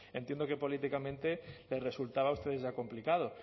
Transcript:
entiendo que políticamente les resultaba a ustedes ya complicado